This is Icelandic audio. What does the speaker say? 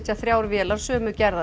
þrjár vélar sömu gerðar